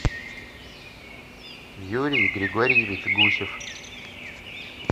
юрий григорьевич гусев